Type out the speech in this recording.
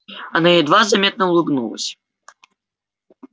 она едва заметно улыбнулась